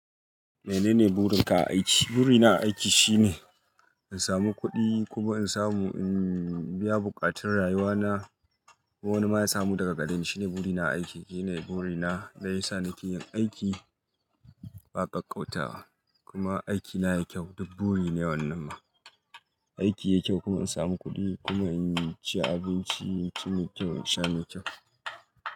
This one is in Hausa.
Menene burin ka a aiki? Burina a aiki shine, in samu kuɗi, kuma in samu, in biya buƙatun rayuwa na. Ko wani ma ya samu daga kadan shine burina a aiki. Shine burina da yasa nake yin aiki ba kakkauta ba. Kuma aikina yakyau duk buri ne wannan ma. Aiki yakyau kuma in samu kuɗi, kuma in ci abinci, cinikin ya kyau in sha mai kyau.